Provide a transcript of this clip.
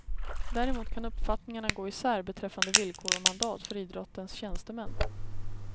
Däremot kan uppfattningarna gå isär beträffande villkor och mandat för idrottens tjänstemän.